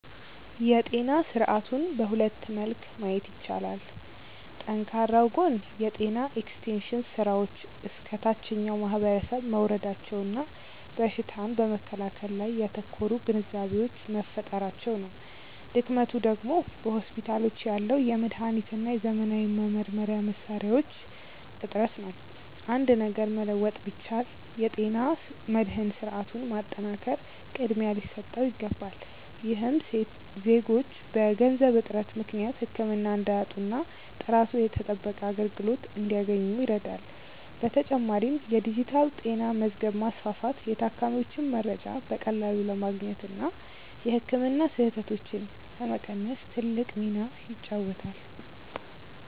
የጤና ስርዓቱን በሁለት መልክ ማየት ይቻላል። ጠንካራው ጎን የጤና ኤክስቴንሽን ስራዎች እስከ ታችኛው ማህበረሰብ መውረዳቸውና በሽታን በመከላከል ላይ ያተኮሩ ግንዛቤዎች መፈጠራቸው ነው። ድክመቱ ደግሞ በሆስፒታሎች ያለው የመድኃኒትና የዘመናዊ መመርመሪያ መሣሪያዎች እጥረት ነው። አንድ ነገር መለወጥ ቢቻል፣ የጤና መድህን ስርዓቱን ማጠናከር ቅድሚያ ሊሰጠው ይገባል። ይህም ዜጎች በገንዘብ እጥረት ምክንያት ህክምና እንዳያጡና ጥራቱ የተጠበቀ አገልግሎት እንዲያገኙ ይረዳል። በተጨማሪም የዲጂታል ጤና መዝገብ ማስፋፋት የታካሚዎችን መረጃ በቀላሉ ለማግኘትና የህክምና ስህተቶችን ለመቀነስ ትልቅ ሚና ይጫወታል።